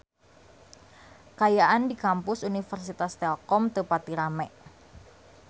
Kaayaan di Kampus Universitas Telkom teu pati rame